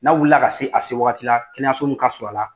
N'a wulila ka se a se wagati la kɛnɛyaso min ka surun a la